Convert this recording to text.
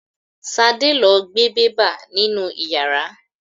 Ṣadé lo gbe bẹ́bà nínú ìyàrá.